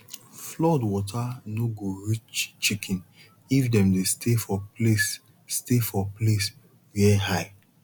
flood water no go reach chicken if dem dey stay for place stay for place where high